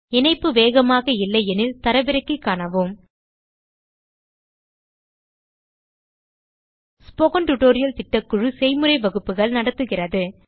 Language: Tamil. இணைப்பு வேகமாக இல்லையெனில் தரவிறக்கி காணவும் ஸ்போக்கன் டியூட்டோரியல் திட்டக்குழு செய்முறை வகுப்புகள் நடத்துகிறது